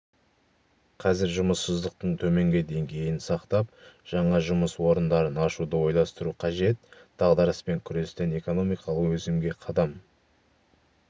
қазір жұмыссыздықтың төменгі деңгейін сақтап жаңа жұмыс орындарын ашуды ойластыру қажет дағдарыспен күрестен экономикалық өсімге қадам